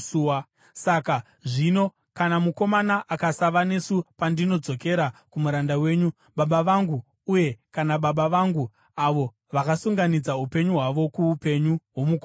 “Saka zvino, kana mukomana akasava nesu pandinodzokera kumuranda wenyu, baba vangu, uye kana baba vangu, avo vakasunganidza upenyu hwavo kuupenyu hwomukomana,